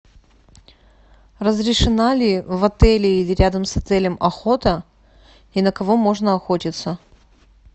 разрешена ли в отеле или рядом с отелем охота и на кого можно охотиться